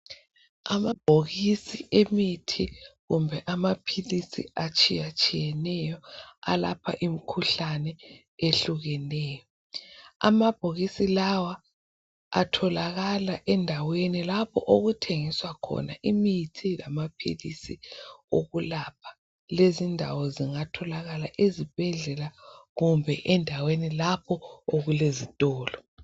Amabhokisi emithi kumbe amaphilisi atshiyatshiyeneyo alapha imkhuhlane ehlukeneyo. Amabhokisi lawa atholakala endaweni lapho okuthengiswa khona imithi lamaphilisi okulapha. Lezi ndawo zingatholakala ezibhedlela kumbe endaweni lapho okulezitolo.